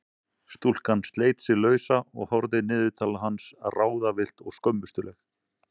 Stúlkan sleit sig lausa og horfði niður til hans ráðvillt og skömmustuleg.